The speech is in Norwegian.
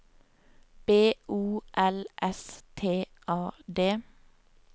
B O L S T A D